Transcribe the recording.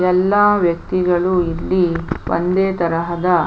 ಎಲ್ಲ ವ್ಯಕ್ತಿಗಳು ಇಲ್ಲಿ ಒಂದೇ ತರಹದ --